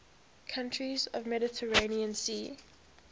countries of the mediterranean sea